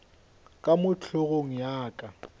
ka mo hlogong ya ka